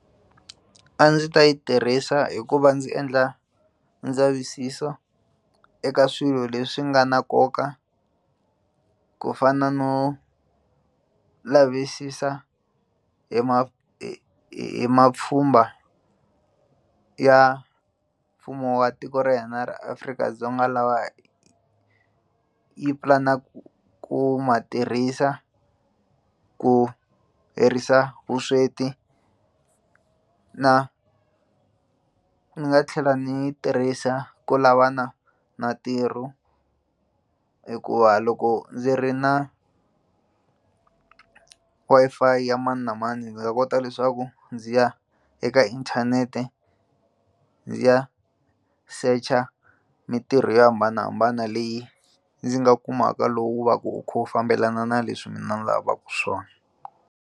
A ndzi ta yi tirhisa hi ku va ndzi endla ndzavisiso eka swilo leswi nga na nkoka ku fana no lavisisa hi hi hi mapfhumba ya mfumo wa tiko ra hina ra Afrika-Dzonga lawa yi pulanaku ku ma tirhisa ku herisa vusweti na ni nga tlhela ni yi tirhisa ku lavana na ntirho hikuva loko ndzi ri na Wi-Fi ya mani na mani ndzi nga kota leswaku ndzi ya eka inthanete ndzi ya search-a mintirho yo hambanahambana leyi ndzi nga kumaka lowu va ku wu kha wu fambelana na leswi mina ni lavaka swona.